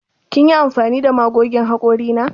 Kin yi amfani da magogin hakori na?